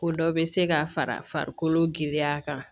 Ko dɔ bɛ se ka fara farikolo giriya kan